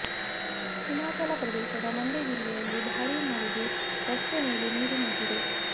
ಹಿಮಾಚಲ ಪ್ರದೇಶದ ಮಂಡಿ ಜಿಲ್ಲೆಯಲ್ಲಿ ಭಾರೀ ಮಳೆಗೆ ರಸ್ತೆ ಮೇಲೆ ನೀರು ನಿಂತಿದೆ